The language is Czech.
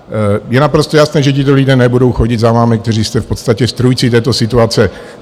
Je naprosto jasné, že tito lidé nebudou chodit za vámi, kteří jste v podstatě strůjci této situace.